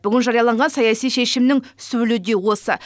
бүгін жарияланған саяси шешімнің сөлі де осы